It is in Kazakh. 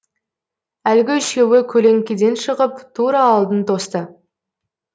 әлгі үшеуі көлеңкеден шығып тура алдын тосты